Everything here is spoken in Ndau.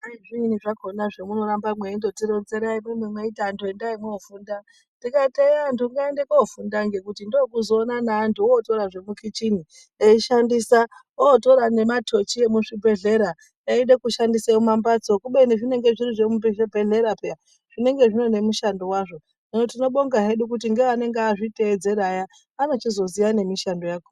Zviini zvakhona zvamunongoramba meindotironzera imwimwi meiti antu endai moofunda. Ndikati eya antu ngaende kofunda ngekuti ndookuzoona na antu otora zvemukhichini eishandisa , ootora nemathochi emuzvibhedhlera eida kushandisa nemumambatso. Kubeni zvinenge zviri zvemuchibhedhlera peyani . Zvinenge zvine mushando wazvo. Hino tinobonga hedu kuti ngeanenge azvitevedzera aya anochizoziya nemushando yakhona.